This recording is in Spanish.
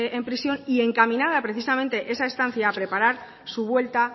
en prisión y encaminada precisamente esa estancia a preparar su vuelta